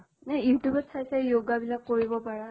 youtube ত চাই চাই yoga বিলাক কৰিব পাৰা।